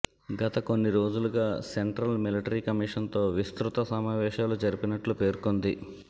గత కొన్ని రోజులుగా సెంట్రల్ మిలిటరీ కమిషన్తో విస్తృత సమావేశాలు జరిపినట్లు పేర్కొంది